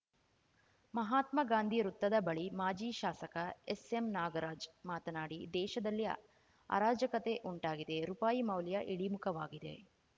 ಮಹಾತ್ಮಾ ಗಾಂಧಿ ವೃತ್ತದ ಬಳಿ ಮಾಜಿ ಶಾಸಕ ಎಸ್‌ಎಂನಾಗರಾಜ್‌ ಮಾತನಾಡಿ ದೇಶದಲ್ಲಿ ಆರಾಜಕತೆ ಉಂಟಾಗಿದೆ ರುಪಾಯಿ ಮೌಲ್ಯ ಇಳಿಮುಖವಾಗಿದೆ